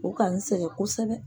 O ka n sɛgɛn kosɛbɛ.